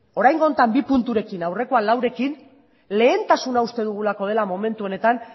oraingo honetan bi punturekin aurrekoa laurekin lehentasuna uste dugulako dela momentu honetan